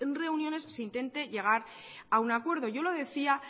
reuniones se intente llegar a un acuerdo yo lo decía